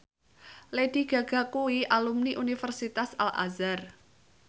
Lady Gaga kuwi alumni Universitas Al Azhar